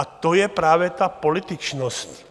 A to je právě ta političnost.